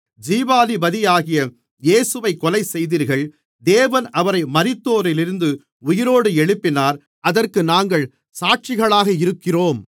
ஜீவாதிபதியாகிய இயேசுவைக் கொலைசெய்தீர்கள் தேவன் அவரை மரித்தோரிலிருந்து உயிரோடு எழுப்பினார் அதற்கு நாங்கள் சாட்சிகளாக இருக்கிறோம்